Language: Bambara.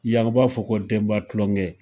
Yan o b'a fɔ ko denba tulongɛ